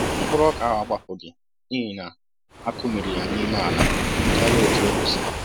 Mkpụrụ ọka ahụ agbapughị n'ihi na-akụmiri ya n'ime ala karịa otú o kwesịrị